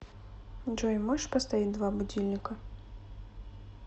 джой можешь поставить два будильника